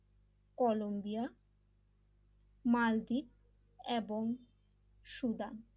Colombia Maldives এবং Sudan l